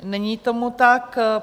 Není tomu tak.